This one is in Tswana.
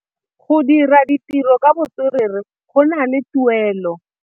Go dira ditirô ka botswerere go na le tuelô.